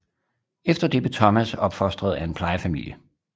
Efter det blev Thomas opfostret af en plejefamilie